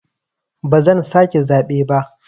Ba zan sake zaɓe ba.